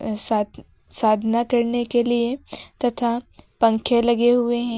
साधना करने के लिए तथा पंखे लगे हुए हैं।